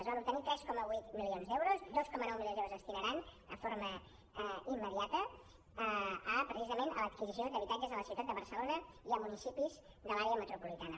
es van obtenir tres coma vuit milions d’euros dos coma nou milions d’euros es destinaran de forma immediata a precisament l’adquisició d’habitatges a la ciutat de barcelona i a municipis de l’àrea metropolitana